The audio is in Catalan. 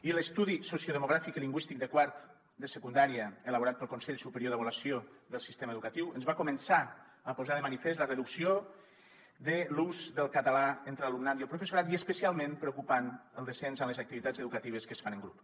i l’estudi sociodemogràfic i lingüístic de quart de secundària elaborat pel consell superior d’avaluació del sistema educatiu ens va començar a posar de manifest la reducció de l’ús del català entre l’alumnat i el professorat i especialment preocupant el descens en les activitats educatives que es fan en grup